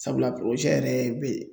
Sabula yɛrɛ bɛ